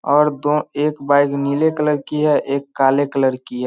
और दो एक बाइक नीले कलर की है एक काले कलर की है।